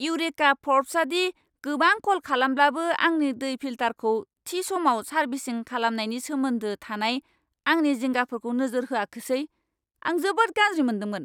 Eureka फर्ब्सआदि गोबां कल खालामब्लाबो आंनि दै फिल्टारखौ थि समाव सारभिसिं खालामनायनि सोमोन्दो थानाय आंनि जिंगाफोरखौ नोजोर होआखोसै, आं जोबोद गाज्रि मोन्दोंमोन।